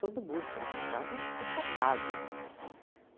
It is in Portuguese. Todo mundo chegava em casa acabado, né.